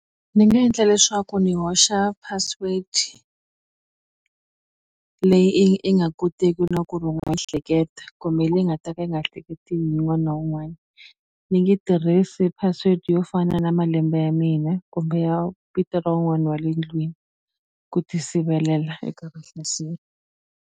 Ni nga endla leswaku ndzi hoxa password leyi i i nga koteki na ku ri u nga hleketa kumbe leyi nga ta ka yi nga hleketiwi hi wun'wana wun'wani ni nge tirhisi password yo fana na malembe ya mina kumbe ya vito wun'wani wa le ndlwini ku ti sivelela eka vahlaseri.